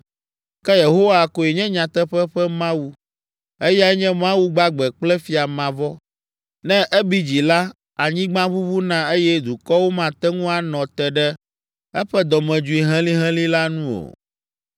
Ke Yehowa koe nye nyateƒe ƒe Mawu, eyae nye Mawu gbagbe kple Fia mavɔ. Ne ebi dzi la, anyigba ʋuʋuna eye dukɔwo mate ŋu anɔ te ɖe eƒe dɔmedzoe helĩhelĩ la nu o.